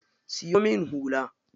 Siyo min hula.